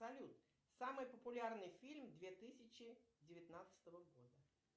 салют самый популярный фильм две тысячи девятнадцатого года